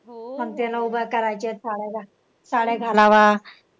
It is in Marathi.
उभा करायचे साड्या साड्या